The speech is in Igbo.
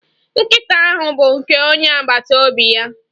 Nkịta ahụ bụ nke onye agbata obi ya.